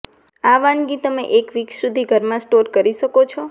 આ વાનગી તમે એક વીક સુધી ઘરમાં સ્ટોર કરી શકો છો